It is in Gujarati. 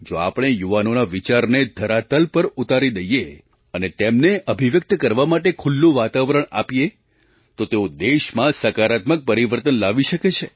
જો આપણે યુવાનોના વિચારને ધરાતલ પર ઉતારી દઈએ અને તેમને અભિવ્યક્ત કરવા માટે ખુલ્લું વાતાવરણ આપીએ તો તેઓ દેશમાં સકારાત્મક પરિવર્તન લાવી શકે છે